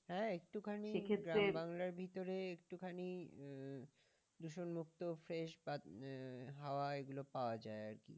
ভিতরে একটু খানে আহ দূষন মুক্ত ও fresh বা হাওয়া এগুলো পাওয়া যায় আরকি।